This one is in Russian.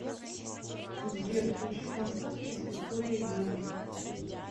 сбер включи французский с викторией грэн